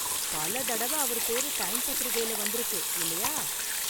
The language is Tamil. பல தடவ அவர் பேரு டைம் பத்திரிக்கையில வந்திருக்கு, இல்லையா?